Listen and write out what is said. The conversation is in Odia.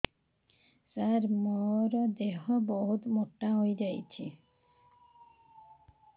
ସାର ମୋର ଦେହ ବହୁତ ମୋଟା ହୋଇଯାଉଛି